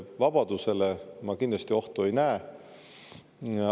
Vabadusele ma kindlasti ohtu ei näe.